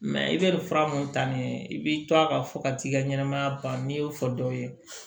i bɛ nin fura mun ta nin ye i b'i to a kan fo ka t'i ka ɲɛnɛmaya ban n'i y'o fɔ dɔw ye